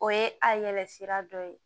O ye a yɛlɛ sira dɔ ye